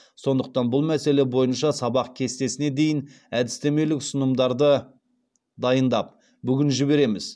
сондықтан бұл мәселе бойынша сабақ кестесіне дейін әдістемелік ұсынымдарды дайындап бүгін жібереміз